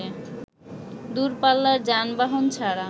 দূরপাল্লার যানবাহন ছাড়া